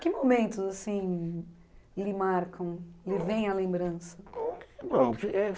Que momentos assim lhe marcam, lhe vem à lembrança? eh